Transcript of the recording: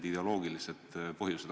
Siin ei ole mingit küsimustki.